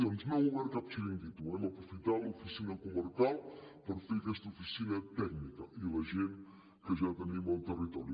doncs no hem obert cap xiringuito hem aprofitat l’oficina comarcal per fer aquesta oficina tècnica i la gent que ja tenim al territori